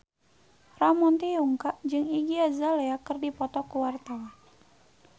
Ramon T. Yungka jeung Iggy Azalea keur dipoto ku wartawan